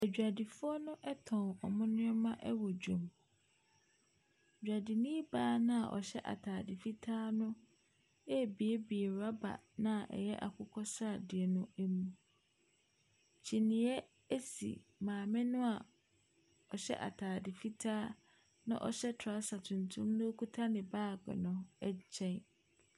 Adwadifoɔ no tɔn wɔn nneɛma wɔ dwam. Dwadini baa no a ɔhyɛ atade fitaa no rebuebue rɔba no a ɛyɛ akokɔ sradeɛ no mu. Kyiniiɛ si maame no a ɔhyɛ atade fitaa na ɔhyɛ trɔsa tuntum na ɔkuta ne baage no nkyɛn.